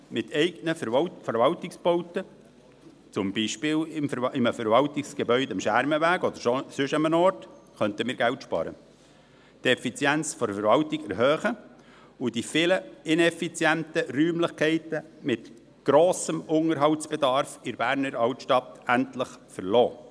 Mit eigenen Verwaltungsbauten, zum Beispiel in einem Verwaltungsgebäude am Schermenweg oder sonst wo, könnten wir Geld sparen, die Effizient der Verwaltung erhöhen und die vielen ineffizienten Räumlichkeiten mit grossem Unterhaltsbedarf in der Berner Altstadt endlich verlassen.